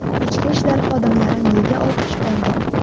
Ichki ishlar xodimlari nega olqish oldi?